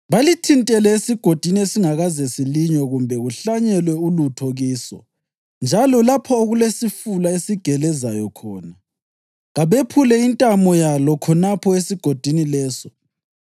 balithintele esigodini esingakaze silinywe kumbe kuhlanyelwe ulutho kiso njalo lapho okulesifula esigelezayo khona. Kabephule intamo yalo khonapho esigodini leso.